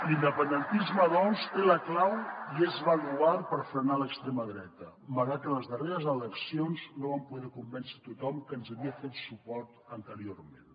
l’independentisme doncs té la clau i és baluard per frenar l’extrema dreta malgrat que en les darreres eleccions no vam poder convèncer tothom que ens havia fet suport anteriorment